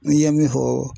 N ye min fɔ